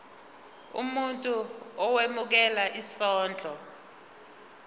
umuntu owemukela isondlo